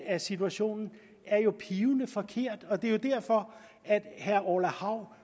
af situationen er jo pivforkert og det er jo derfor at herre orla hav